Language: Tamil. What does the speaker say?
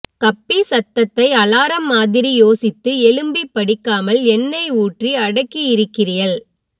கப்பி சத்தத்தை அலாரம் மாதிரி யோசித்து எழும்பி படிக்காமல் எண்ணை ஊற்றி அடக்கியிருக்கிறியள்